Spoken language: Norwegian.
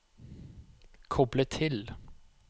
koble til